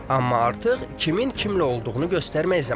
Amma artıq kimin kimlə olduğunu göstərmək zamanıdır.